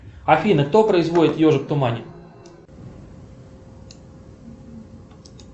афина кто производит ежик в тумане